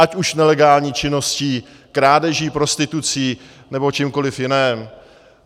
Ať už nelegální činností, krádeží, prostitucí nebo čímkoliv jiným.